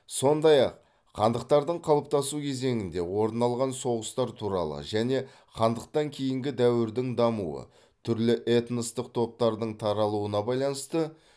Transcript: сондай ақ хандықтардың қалыптасу кезеңінде орын алған соғыстар туралы және хандықтан кейінгі дәуірдің дамуы түрлі этностық топтардың таралуына байланысты